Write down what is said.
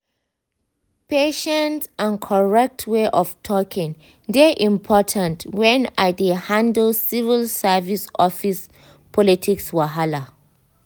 patience and correct way of talking dey important when i dey handle civil service office politics wahala.